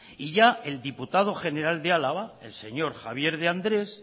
y ya el diputado general de álava el señor javier de andrés